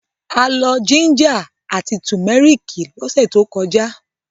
A lọ jíńjà àti tùmẹ́rìkì lọ́sẹ̀ tó kọjá.